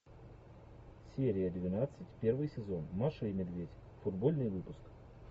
серия двенадцать первый сезон маша и медведь футбольный выпуск